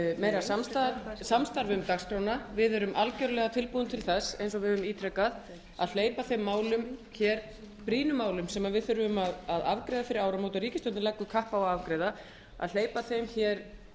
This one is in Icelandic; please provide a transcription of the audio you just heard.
meira samstarf um dagskrána við erum algerlega tilbúin til þess eins og við höfum ítrekað að hleypa þeim brýnu málum sem við þurfum að afgreiða fyrir áramót og ríkisstjórnin leggur kapp á að afgreiða setja þau